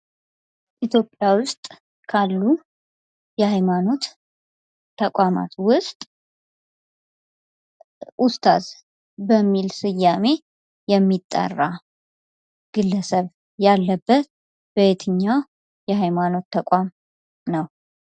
ኢትዮጵያ ውስጥ ካሉ የሀይማኖት ተቋማት ውስጥ ኡስታዝ በሚል ስያሜ የሚጠራ ግለሰብ ያለበት በየትኛው የሀይማኖት ተቋም ነው?